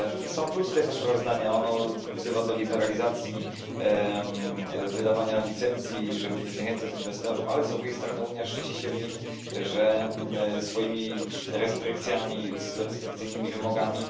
Są plusy tego sprawozdania, ono wzywa do liberalizacji wydawania licencji, żeby nie zniechęcać inwestorów, ale z drugiej strony Unia szczyci się w nim swoimi restrykcjami, restrykcyjnymi wymogami.